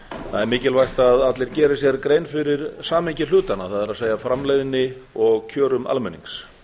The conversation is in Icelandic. það er mjög mikilvægt að allir geri sér grein fyrir samhengi hlutanna það er framleiðni og kjörum almennings